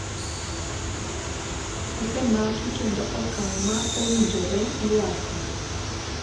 osemaki kendo okang' ma owinjore iwako